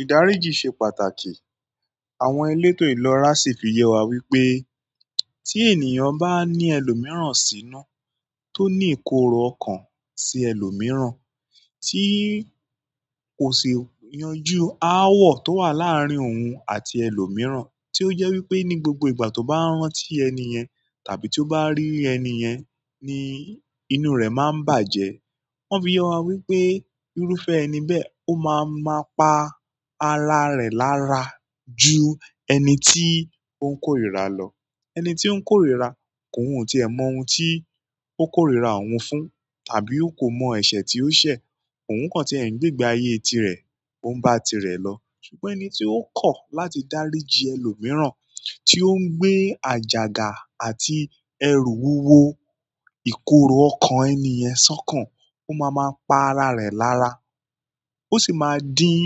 Ìdáríjì ṣe pàtàkì. Àwọn elétò ìlera sì fi yẹ wa wípé tí ènìyàn bá ní ẹlòmíràn sínú tó ní ìkorò ọkàn sí ẹlòmíràn tí kò sì yanjú ááwọ̀ tó wà láàárín òun àti ẹlòmíràn tí ó jẹ́ wípé ní gbogbo ìgbà tó bá ń rántí ẹni ẹ̀ tàbí tó bá rí ẹni ẹ̀ ni inú rẹ̀ máa ń bàjẹ́. Wọ́n fi yọ wa wípé irúfẹ́ ẹni bẹ́ẹ̀ ó máa máa pa ara rẹ̀ lára ju ẹni tí ó ń korira lọ. Ẹni tí ó ń korira kòhùn tí ẹ mọ ohun tí ó korira òun fún tàbí ó kò mọ ẹ̀ṣẹ̀ tí ó ṣẹ̀, òun kàn tí ẹ́ ni gbegbe ayé tirẹ̀, ó ń bá tirẹ̀ lọ. Ṣùgbọ́n ẹni tí ó kọ̀ láti dáríjì ẹlòmíràn, tí ó ń gbé àjàgà àti ẹrù wúwo ìkorò ọkàn ẹni ẹ̀ sọ́kàn, ó máa máa pa ara rẹ̀ lára. Ó sì máa dín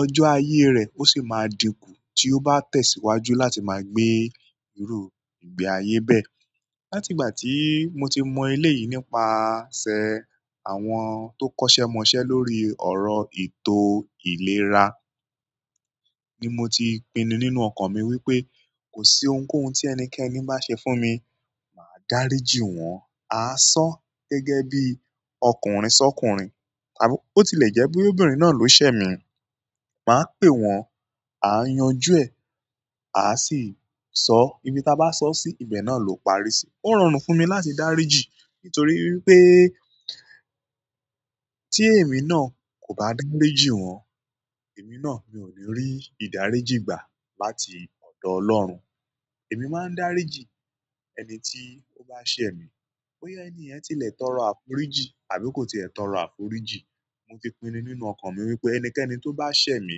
ọjọ́ ayé rẹ̀, ó sì máa dínkù tí ó bá tẹ̀síwájú láti máa gbé irú ìgbé ayé bẹ́ẹ̀. Láti ìgbà tí mo ti mọ ilé yìí nípasẹ̀ àwọn tó kọ́ṣẹ́ mọṣẹ́ lórí ọ̀rọ̀ ètò ìlera ni mo ti pinu nínú ọkàn mi wípé kò sí ohunkóhun tí ẹnikẹ́ni bá ṣe fún mi, mà á dáríjì wọ́n. A á sọ̀ gẹ́gẹ́ bí ọkùnrin sọ́kùnrin tàbí ó ti lè jẹ́ bí obìnrin náà ló ṣẹ́ mi, mà á pè wọ́n, à á yanjú ẹ, à á sì sọ ibi táa bá sọ sí, ibẹ̀ náà ló parí sí. Ó rọrùn fún mi láti dáríjì nítorí wípé tí èmi náà kò bá dáríjì wọ́n, èmi náà mi ò ní rí ìdáríjì gbà láti ọ̀dọ̀ Ọlọ́run. Èmi máa ń dáríjì ẹni tí ó bá ṣẹ mí bóyá ẹni ẹ̀ ti lè tọrọ àforíjì tàbí kò ti lè tọrọ àforíjì. Mo ti pinu nínú ọkàn mi wípé ẹnikẹ́ni tó bá ṣẹ́ mi,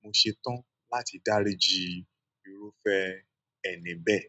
mo ṣetán láti dáríjì irúfẹ́ ẹni bẹ́ẹ̀.